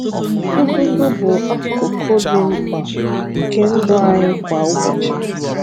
Ụgụgụ bụ akụkụ dị mkpa nke ndụ anyị kwa ụbọchị.